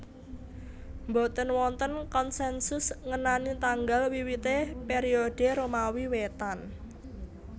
Mboten wonten konsensus ngenani tanggal wiwité periode Romawi Wétan